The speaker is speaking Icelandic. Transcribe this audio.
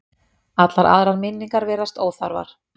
Allar aðrar minningar virðast óþarfar.